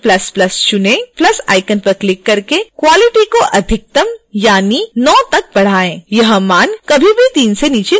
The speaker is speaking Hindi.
प्लस साइन पर क्लिक करके quality को अधिकतम यानी 9 तक बढ़ाएं यह मान कभी भी 3 से नीचे नहीं होना चाहिए